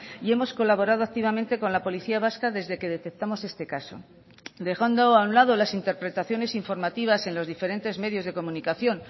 y hemos colaborado activamente con la policía vasca desde que detectamos este caso dejando a un lado las interpretaciones informativas en los diferentes medios de comunicación